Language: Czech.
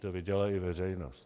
To viděla i veřejnost.